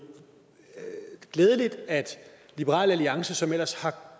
glædeligt at liberal alliance som ellers